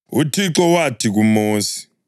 UThixo wathi kuMosi: